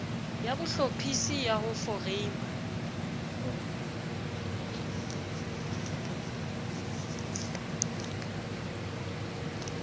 ya bohlophisi ya ho foreima